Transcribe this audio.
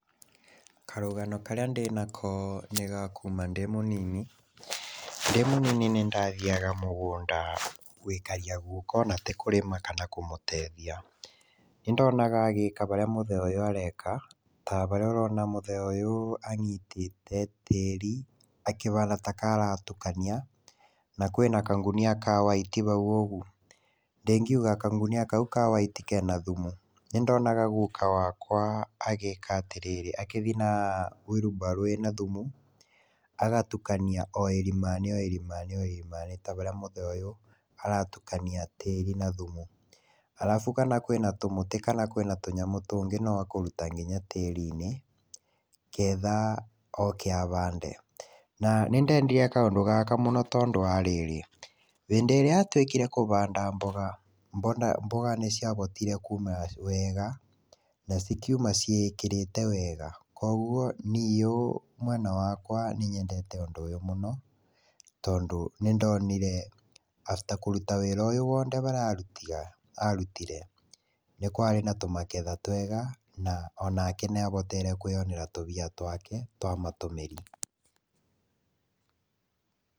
Karũgano karĩa ndĩnako nĩgakuma ndĩmũnini, ndĩmũnini nĩndathiaga mũgũnda gwĩkaria gũka ona tĩkũrĩma kana kũmũteithia, ndĩndonaga agĩka ũrĩa mũthee ũyũ areka ta haríĩ ũrona mũthee ũyũ anyitĩte tĩri akĩhana takaaratukania, na kwĩna kagunia ka white haũ ũgu, ndĩngĩuga kagunia kaũ ka white kena thumu, nĩndonaga gũka wakwa agĩka atĩrĩrĩ akĩthii na wheelbarrow ĩno na thumu, agatukania oĩrimani, oĩrimanĩ, oĩrimanĩ, ta harĩa mũthee ũyũ aratukania tĩei na thumu, arafu kana kwĩna tũmĩtĩ kana tũnyamũ tũngĩ nowakũruta nginya tĩrinĩ nĩgetha oke ahande, na nĩndedire kaũndũ gaka mũno tondũ wa rĩrĩ, hĩndĩ ĩrĩa atuĩkire kũhanda mboga, mboga nĩciahotire kũmĩra wega na cikĩũma cĩĩkĩrĩte wega, kwoguo niũ mwena wakwa nĩnyendete ũndũ mũno, tondũ nĩndonire afta kũruta wĩra ũyũ wothe arutire, nĩkwarĩ na tũmagetha twega na onake nĩahotire kĩonera tũmbia tũake twa matũmĩri.